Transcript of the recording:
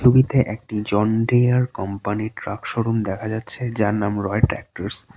ছবিতে একটি John Deere কোম্পানির ট্রাক শোরুম দেখা যাচ্ছে যার নাম রয় ট্র্যাক্টটারস ।